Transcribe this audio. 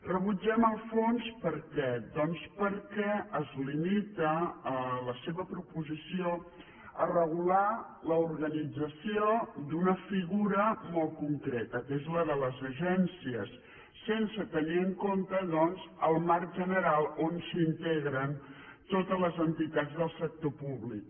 rebutgem el fons per què doncs perquè es limita la seva proposició a regular l’organització d’una figura molt concreta que és la de les agències sense tenir en compte doncs el marc general on s’integren totes les entitats del sector públic